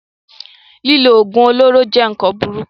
Lílo oògùn olóró jẹ́ nkan burúkú